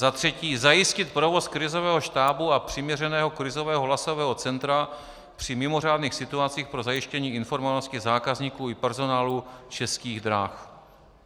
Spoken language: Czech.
Za třetí, zajistit provoz krizového štábu a přiměřeného krizového hlasového centra při mimořádných situacích pro zajištění informovanosti zákazníků i personálu Českých drah.